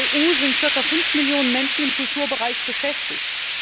In der EU sind circa fünf Millionen Menschen im Kulturbereich beschäftigt.